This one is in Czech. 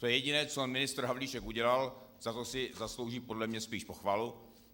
To je jediné, co ministr Havlíček udělal, za to si zaslouží podle mě spíš pochvalu.